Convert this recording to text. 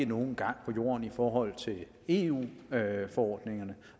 nogen gang på jorden i forhold til eu forordningerne